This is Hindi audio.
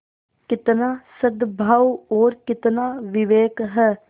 कितना सदभाव और कितना विवेक है